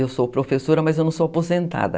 Eu sou professora, mas eu não sou aposentada.